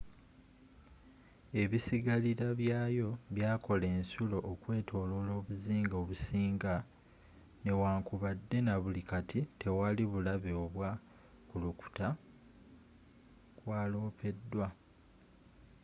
ebisigalira byayo byakola ensulo okwetoloola obuzinga obusinga newankubadde nabuli kati tewali bulabe oba kukulukuta kwalopeddwa